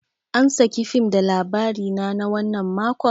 An saki fim da Labarina na wannan makon?